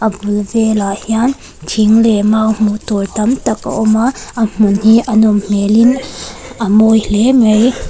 bul velah hian thing leh mau hmuh tur tam tak a awm a a hmun hi a nawm hmelin a mawi hle mai.